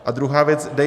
A druhá věc.